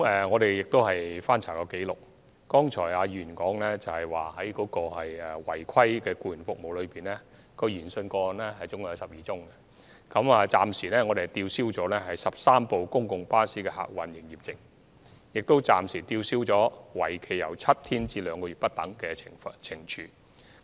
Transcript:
我們曾翻查紀錄，了解到在議員剛才提及就12宗違規提供僱員服務的個案研訊中，我們暫時吊銷了13輛公共巴士的客運營業證，以及作出了吊銷營業證為期7天至2個月不等的懲處。